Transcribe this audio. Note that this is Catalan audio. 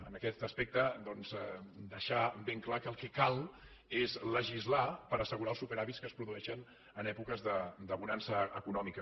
en aquest aspecte deixar ben clar que el que cal és legislar per assegurar els superàvits que es produeixen en èpoques de bonança econòmica